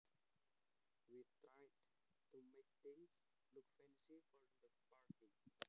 We tried to make things look fancy for the party